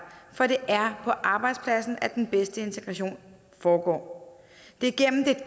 for det er på arbejdspladsen at den bedste integration foregår det er gennem det